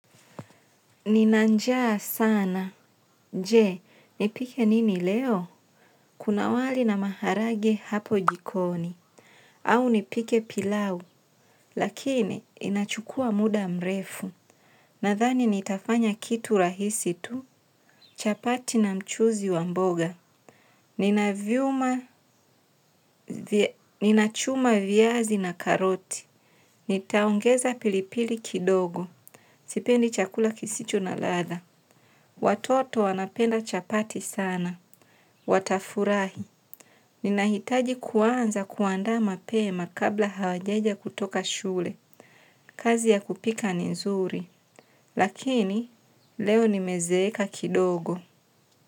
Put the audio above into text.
Nina njaa sana. Je, nipike nini leo? Kuna wali na maharage hapo jikoni. Au nipike pilau. Lakini, inachukua muda mrefu. Nadhani, nitafanya kitu rahisi tu. Chapati na mchuzi wa mboga. Ninavyuma, ninachuma viazi na karoti. Nitaongeza pilipili kidogo. Sipendi chakula kisicho na latha. Watoto wanapenda chapati sana. Watafurahi, ninahitaji kuanza kuandaa mapema kabla hawajaja kutoka shule, kazi ya kupika ni nzuri, lakini leo nimezeeka kidogo.